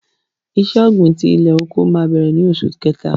Ìṣẹ̀ ògbin tí ilẹ̀-oko mà bẹ̀rẹ̀ ní Ọṣù Kẹ̀tà.